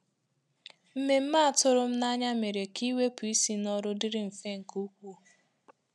Mmemme a tụrụ m n'anya mere ka iwepụ isi n’ọrụ dịrị mfe nke ukwuu.